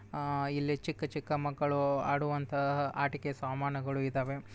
ಆ ಇಲ್ಲಿ ಚಿಕ್ಕ ಚಿಕ್ಕ ಮಕ್ಕಳು ಆಡುವಂತಹ ಆಟಿಕೆ ಸಾಮಾನುಗಳು ಇದಾವೆ.